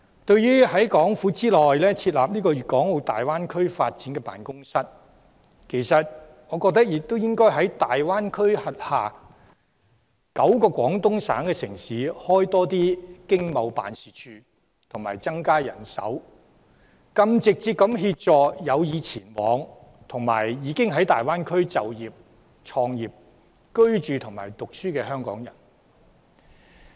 對於在港府內設立粵港澳大灣區發展辦公室，其實我認為亦應該在大灣區轄下9個廣東省城市設立經貿辦事處及增加人手，更直接地協助有意前往，以及已經在大灣區就業、創業、居住或就學的香港人。